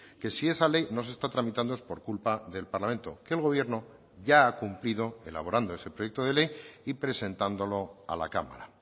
que si esa ley no se está tramitando es por culpa del parlamento que el gobierno ya ha cumplido elaborando ese proyecto de ley y presentándolo a la cámara